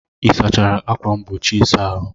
Ị sachara ákwà mgbochi ịsa ahụ?